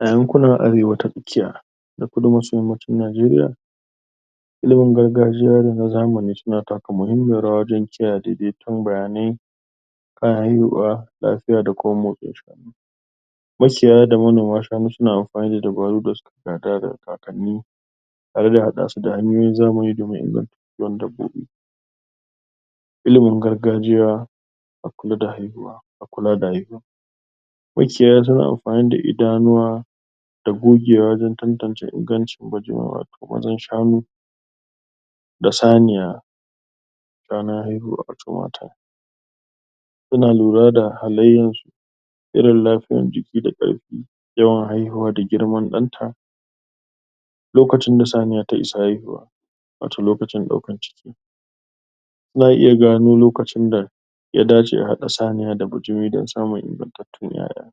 A yankunan Arewa ta Tsakiya da Kudu maso Yammacin Najeriya, ilimin gargajiya da na zamani suna taka muhimmiyar rawa wajen kiyaye daidaiton bayanai Makiyaya da manoma shanu suna amfani da dabaru da suka gada daga kakanni zamani da zai inganta kiwon dabbobi Ilimin gargajiya a kula da haihuwa, a kula da haihuwa makiyaya tana amfani da idanuwa da gogewa wajen tantance ingancin wato maan shanu da saniya ranar haihuwa, wato Suna lura da halayyarsu irin lafiyar jiki da ƙarfi, yawan haihuwa da girman ɗanta. lokacin da saniya ta isa haihuwa, wato lokacin ɗaukan ciki za a iya gano lokaci da ya dace a haɗa saniya da bijimi don samun ingantattun ƴaƴa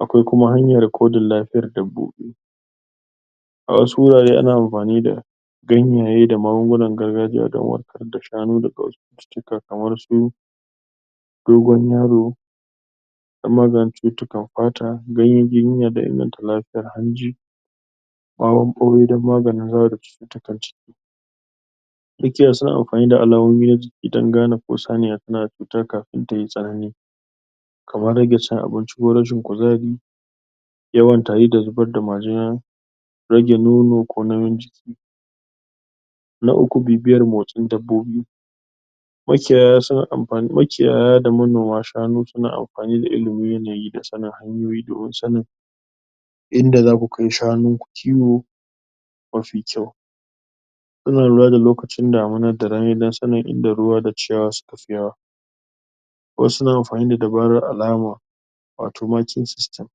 Akwai kumar hanyar rikodin lafiyar dabbobi A wasu wurare ana amfani da gangaye da magungunan gargajiya don kamar su dogon yaro, don maganin cututtukan fata, ganyen giginya don inganta lafiyar hanji. ɓawon ɓaure don maganin zawo da cututtukan ciki. Makiyaya suna amfani da alamomi don gane ko saniya tana da cuta kafin ta yi tsanani kamar rage cin abinci ko rashin kuzari, yawan tari da zubar da majina rage nono ko nauyin ciki. Na uku bibiyar motsin dabbobi. Makiyaya suna amfani makiyaya da manoma shanu suna amfani da ilimin yanayi da sanin hanyoyi domin sanin inda za ku kai shanunku kiwo mafi kyau. Suna lura da lokacinm damina da rani don sanin inda ruwa da ciyawa suka fi yawa. Wasu suna amfani da dabarar alama, wato marking system.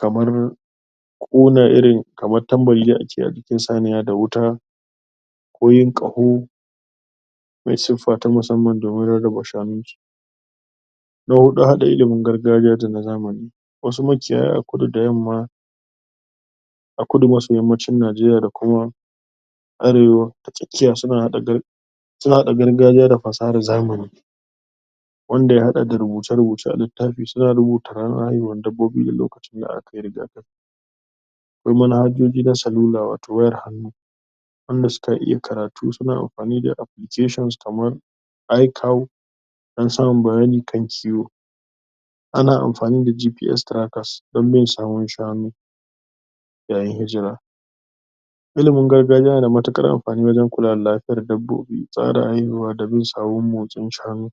Kamar, ƙona irin, kamar tambari dai a ce a jikin saniya da wuta ko yin ƙaho. mai siffa ta musamman domin rarraba shanunsu. Na huɗu, haɗa ilimin gargajiya da na zamani. Wasu makiyaya a kudu da yamma a Kudu maso Yammacin Najeriya da kuma Arewa ta Tsakiya suna haɗa gar, suna haɗa gargajiya da fasahar zamani. wanda ya haɗa da rubuce-rubuce a littafi. Suna rubuta ranar haihuwar dabbobi da lokacin da aka ƙirga Akwai manhajoji na salula, wato wayar hannu, wanda suka iya karatu suna amfani da applications, kamar iCow don samun bayani kan kiwo. Ana amfani da GPS trackers don bin sawun shanu yayin hijira. Ilimin gargajiya yana damatuar amfani wajen kula da lafiyar dabbobi, tsara haihuwa da bin sawun motsin shanu.